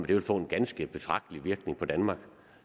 ville få en ganske betragtelig virkning på danmark